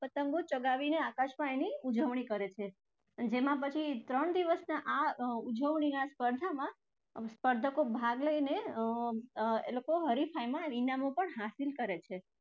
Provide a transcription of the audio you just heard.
પતંગો ચગાવીને આકાશમાં એની ઉજવણી કરે છે જેમાં પછી ત્રણ દિવસની આ અર ઉજવણી અને સ્પર્ધામાં સ્પર્ધકો ભાગ લઈને અર એ લોકો હરીફાઈમાં ઇનામો પણ હાસિલ કરે છે.